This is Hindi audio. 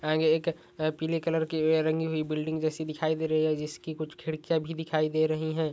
आगे एक अ पीले कलर की वह रंगी हुई बिल्डिंग जेसी दिखाई दे रही है जिसकी कुछ खिड़कियां भी दिखाई दे रही है।